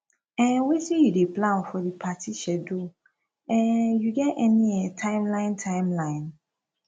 um wetin you dey plan for di party schedule um you get any um timeline timeline